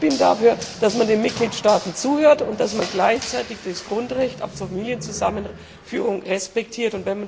Ich bin dafür, dass man den Mitgliedstaaten zuhört und dass man gleichzeitig das Grundrecht auf Familienzusammenführung respektiert.